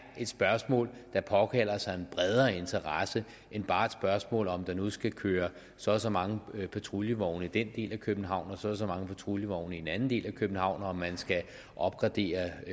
et spørgsmål der påkalder sig en bredere interesse end bare et spørgsmål om der nu skal køre så og så mange patruljevogne i den del af københavn og så og så mange patruljevogne i en anden del af københavn og at man skal opgradere